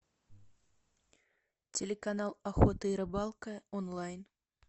телеканал охота и рыбалка онлайн